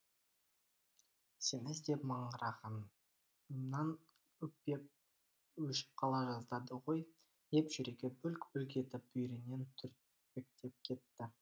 сені іздеп маңырағанымнан өкпем өшіп қала жаздады ғой деп жүрегі бүлк бүлк етіп бүйірінен түртпектеп кетті